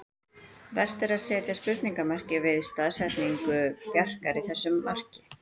Vert er að setja spurningarmerki við staðsetningu Bjarkar í þessu marki.